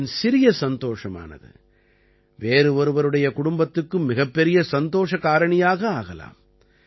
உங்களின் சிறிய சந்தோஷமானது வேறு ஒருவருடைய குடும்பத்துக்கு மிகப்பெரிய சந்தோஷ காரணியாக ஆகலாம்